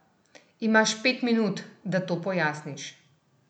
Imaš pet minut, da to pojasniš!